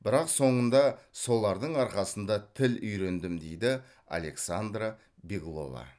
бірақ соңында солардың арқасында тіл үйрендім дейді александра беглова